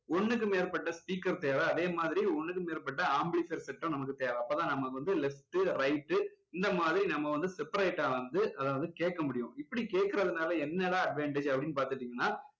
ஒண்ணுக்கு மேற்பட்ட speaker தேவை அதேமாதிரி ஒண்ணுக்கு மேற்பட்ட amplifier set உம் நமக்கு தேவை அப்போதான் நம்ம left உ right உ இந்த மாதிரி நம்ம வந்து separate டா வந்து அதை வந்து கேட்க முடியும் இப்படி கேக்குறதுனால என்ன தான் advantage அப்படின்னு பார்த்துட்டீங்கன்னா